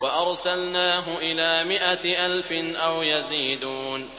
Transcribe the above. وَأَرْسَلْنَاهُ إِلَىٰ مِائَةِ أَلْفٍ أَوْ يَزِيدُونَ